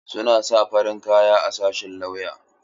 Suna sa farin kaya a sashin lauya.